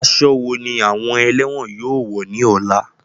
Aṣọ wo ni àwọn ẹ̀lẹ́wọ̀n yóò wọ̀ ní ọ̀la?